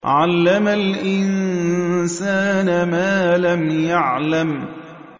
عَلَّمَ الْإِنسَانَ مَا لَمْ يَعْلَمْ